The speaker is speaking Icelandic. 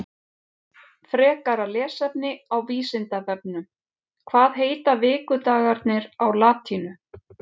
Frekara lesefni á Vísindavefnum Hvað heita vikudagarnir á latínu?